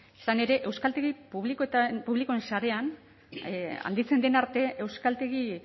izan ere euskaltegi publikoen sarean handitzen den arte euskaltegi